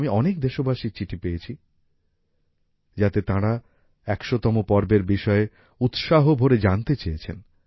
আমি অনেক দেশবাসীর চিঠি পেয়েছি যাতে তাঁরা ১০০তম পর্বের বিষয়ে উৎসাহ ভরে জানতে চেয়েছেন